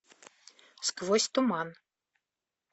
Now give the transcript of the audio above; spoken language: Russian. сквозь туман